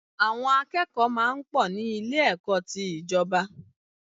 Àwọn akẹ́kọ̀ọ́ máa ń pọ̀ ní Ilé-ẹ̀kọ́ ti ìjọba